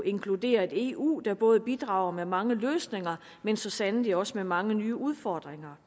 inkluderer et eu der både bidrager med mange løsninger men så sandelig også med mange nye udfordringer